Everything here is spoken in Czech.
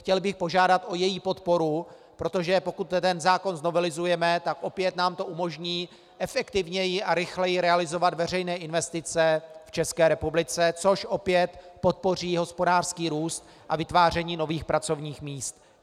Chtěl bych požádat o její podporu, protože pokud ten zákon znovelizujeme, tak opět nám to umožní efektivněji a rychleji realizovat veřejné investice v České republice, což opět podpoří hospodářský růst a vytváření nových pracovních míst.